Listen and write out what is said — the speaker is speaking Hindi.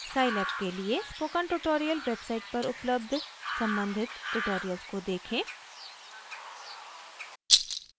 scilab के लिए स्पोकन ट्यूटोरियल वेबसाइट पर उपलब्ध सम्बंधित ट्यूटोरियल्स को देखें